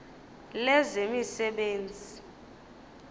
lezemisebenzi